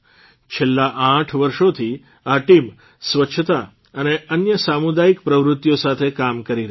છેલ્લા આઠ વર્ષોથી આ ટીમ સ્વચ્છતા અને અન્ય સામુદાયિક પ્રવૃત્તિઓ સાથે કામ કરી રહી છે